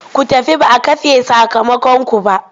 Ku tafi ba a kafe sakamakonku ba!